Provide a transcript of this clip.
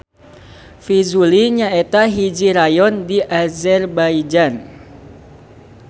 Fizuli nyaeta hiji rayon di Azerbaijan.